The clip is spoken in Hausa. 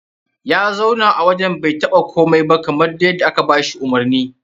Ya zauna a wajen bai taɓa komai ba kamar dai yadda aka ba shi umarni.